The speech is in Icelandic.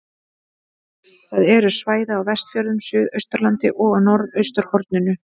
Það eru svæði á Vestfjörðum, Suðausturlandi og á norðausturhorninu.